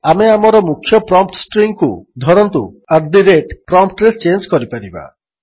ଆମେ ଆମର ମୁଖ୍ୟ ପ୍ରମ୍ପ୍ଟ୍ ଷ୍ଟ୍ରିଙ୍ଗ୍କୁ ଧରନ୍ତୁ ଆଟ୍ ଦ ରେଟ୍ ltgt ପ୍ରମ୍ପ୍ଟ୍ରେ ଚେଞ୍ଜ୍ କରିପାରିବା